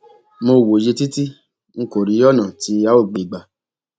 mo wòye títí n kò rí ọnà tí a óò gbé e gbà